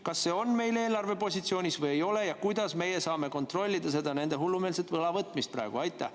Kas see on meil eelarvepositsioonis või ei ole ja kuidas me saame kontrollida praegu nende hullumeelset võlavõtmist?